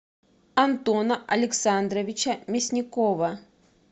антона александровича мясникова